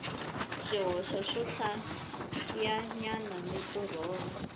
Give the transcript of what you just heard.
swihoxo swohlayanyana ni ku rhomba